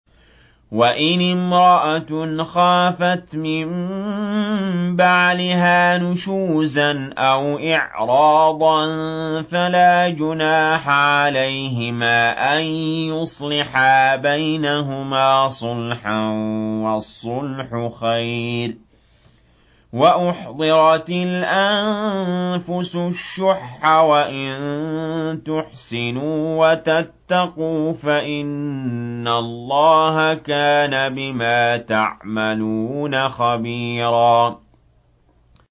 وَإِنِ امْرَأَةٌ خَافَتْ مِن بَعْلِهَا نُشُوزًا أَوْ إِعْرَاضًا فَلَا جُنَاحَ عَلَيْهِمَا أَن يُصْلِحَا بَيْنَهُمَا صُلْحًا ۚ وَالصُّلْحُ خَيْرٌ ۗ وَأُحْضِرَتِ الْأَنفُسُ الشُّحَّ ۚ وَإِن تُحْسِنُوا وَتَتَّقُوا فَإِنَّ اللَّهَ كَانَ بِمَا تَعْمَلُونَ خَبِيرًا